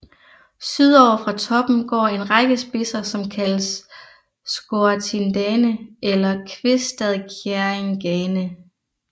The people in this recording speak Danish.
Sydover fra toppen går en række spidser som kaldes Skåratindane eller Kvistadkjerringane